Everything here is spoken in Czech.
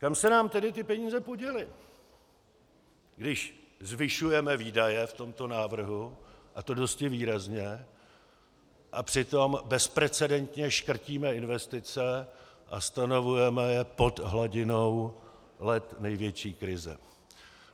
Kam se nám tedy ty peníze poděly, když zvyšujeme výdaje v tomto návrhu, a to dosti výrazně, a přitom bezprecedentně škrtíme investice a stanovujeme je pod hladinou let největší krize?